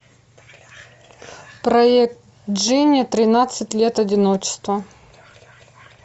проект джини тринадцать лет одиночества